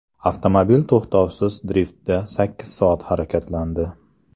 Avtomobil to‘xtovsiz driftda sakkiz soat harakatlandi.